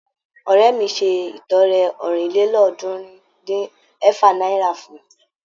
Ọ̀rẹ́ mi ṣe ìtọrẹ ọ̀rìnlélọ́ọ̀ọ́dúnrún-dín-ẹ̀fà náírà fún wọn.